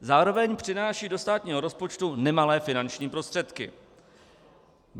Zároveň přináší do státního rozpočtu nemalé finanční prostředky.